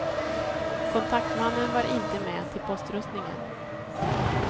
Kontaktmannen var inte med till poströstningen.